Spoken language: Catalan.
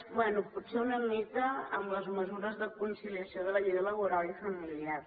bé potser una mica en les mesures de conciliació de la vida laboral i familiar